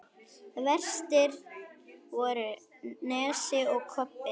Verstir voru Nesi og Kobbi.